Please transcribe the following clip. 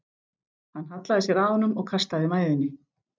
Hann hallaði sér að honum og kastaði mæðinni.